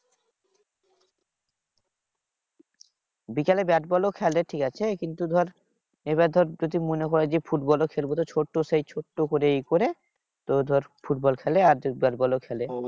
বিকেলে ব্যাটবল ও খেলে ঠিকাছে? কিন্তু ধর এবার ধর যদি মনে করে যে ফুটবল ও খেলবো তাহলে ছোট্ট সেই ছোট্ট করে এই করে তোর ধর ফুটবল খেলে আর ব্যাটবল ও খেলে।